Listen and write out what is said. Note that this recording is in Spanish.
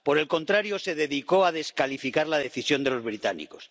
Por el contrario, se dedicó a descalificar la decisión de los británicos.